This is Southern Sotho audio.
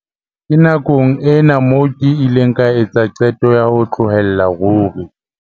"Ke nakong ena moo ke ileng ka etsa qeto ya ho tlohella ruri."